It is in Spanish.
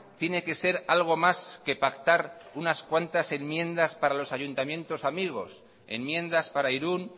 tiene que ser algo más que pactar unas cuantas enmiendas para los ayuntamientos amigos enmiendas para irún